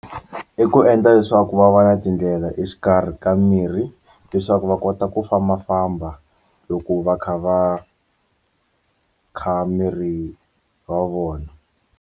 I ku endla leswaku va va na tindlela exikarhi ka mirhi leswaku va kota ku fambafamba loko va kha va kha miri wa vona.